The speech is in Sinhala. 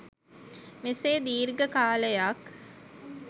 මෙසේ දීර්ඝ කාලයක්